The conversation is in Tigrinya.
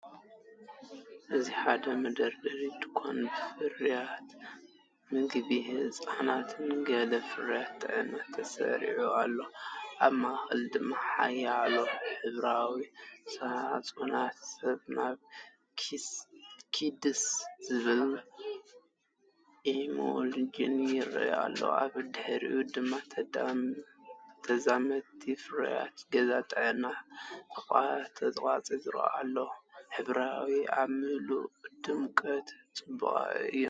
እዚ ሓደ መደርደሪ ድኳን ብፍርያት መግቢ ህጻናትን ገለ ፍርያት ጥዕናን ተሰሪዑ ኣሎ። ኣብ ማእከል ድማ ሓያሎ ሕብራዊ ሳጹናት"ስናብ ኪድስ"ዝብል ኢሙልሽን"ይረኣዩ ኣሎ። ኣብ ድሕሪት ድማ ተዛመድቲ ፍርያት ገዛን ጥዕናን ተቐሪጾም ኣለዉ ሕብርታት ኣብ ምሉእ ድሙቓትን ጽቡቓትን እዮም።